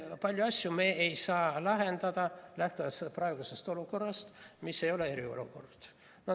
Palju asju me ei saa lahendada, lähtudes praegusest olukorrast, mis ei ole eriolukord.